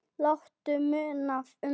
Láttu muna um þig.